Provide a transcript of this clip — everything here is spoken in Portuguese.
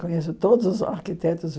Conheço todos os arquitetos.